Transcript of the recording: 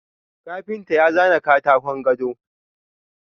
Kafinta ya zana katakon gado.